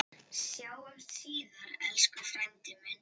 Sjáumst síðar, elsku frændi minn.